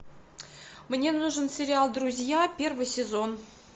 мне нужен сериал друзья первый сезон